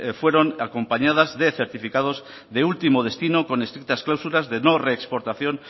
fueron acompañadas de certificados de último destino con estrictas cláusulas de no reexportación